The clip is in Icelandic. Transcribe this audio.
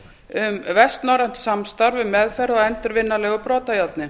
um vestnorrænt samstarf um meðferð á endurvinnanlegu brotajárni